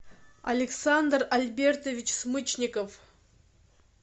александр альбертович смычников